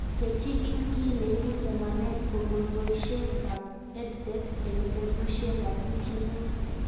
Kechig'il kiy neipu somanet kopun poishet ab EdTech eng'petushek ab pichinwek